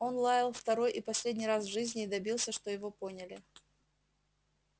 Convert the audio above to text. он лаял второй и последний раз в жизни и добился что его поняли